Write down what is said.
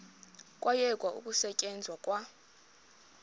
kwayekwa ukusetyenzwa kwa